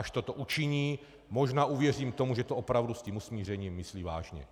Až toto učiní, možná uvěřím tomu, že to opravdu s tím usmířením myslí vážně.